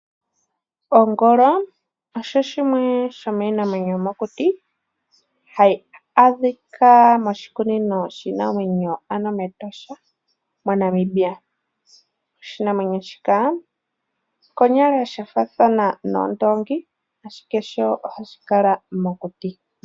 Ongolo osho shimwe shomiinamwenyo yomokuti hayi adhika moshikunino shiinamwenyo ano mEtosha moNamibia, oshinamweno shika konyala sha faathana noondongi ashike sho ohashi kala mokuti.